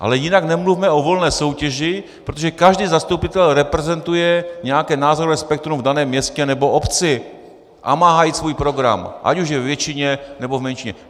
Ale jinak nemluvme o volné soutěži, protože každý zastupitel reprezentuje nějaké názorové spektrum v daném městě nebo obci a má hájit svůj program, ať už je ve většině, nebo v menšině.